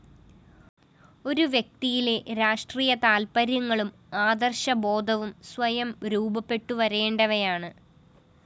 ഒരു വ്യക്തിയിലെ രാഷ്ട്രീയ താല്‍പര്യങ്ങളും ആദര്‍ശബോധവും സ്വയം രൂപപ്പെട്ടുവരേണ്ടവയാണ്